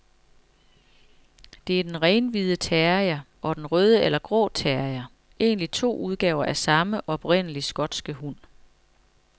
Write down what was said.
Det er den renhvide terrier og den røde eller grå terrier, egentlig to udgaver af samme, oprindelig skotske hund.